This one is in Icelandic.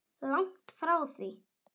Langt frá því.